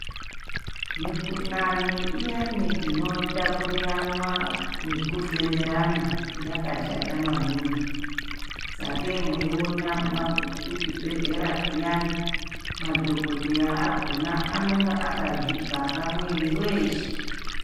Mikhuhlani iyani inotapuriranwa nekufemerana yakashata maningi. Sakei meiona magume kuchibhedhlera zviyani madhokodheya akona anonga akazvivhara mwiiri weshe.